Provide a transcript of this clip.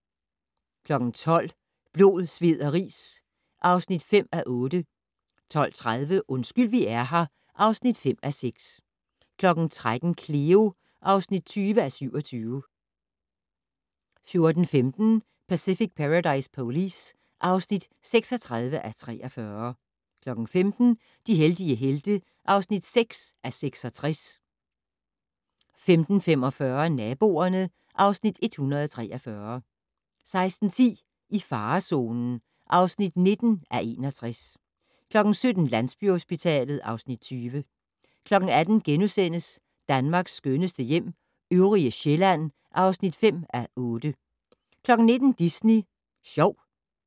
12:00: Blod, sved og ris (5:8) 12:30: Undskyld vi er her (5:6) 13:00: Cleo (20:27) 14:15: Pacific Paradise Police (36:43) 15:00: De heldige helte (6:66) 15:45: Naboerne (Afs. 143) 16:10: I farezonen (19:61) 17:00: Landsbyhospitalet (Afs. 20) 18:00: Danmarks skønneste hjem - øvrige Sjælland (5:8)* 19:00: Disney Sjov